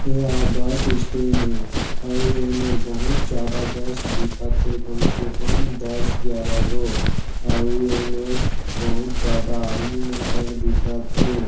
एहा bus stand ए अउ ए मेर बहुत ज्यादा बस दिखत हे कम से काम दस ग्यारा गो अउ एमेर बहुत ज्यादा आदमी मन तक दिखत हे।